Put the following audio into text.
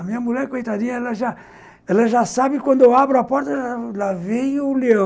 A minha mulher, coitadinha, ela já ela já sabe quando eu abro a porta, lá vem o leão.